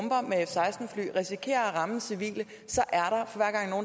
risikerer at ramme civile så er